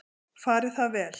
Fari það vel.